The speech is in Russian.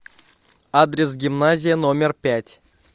адрес гимназия номер пять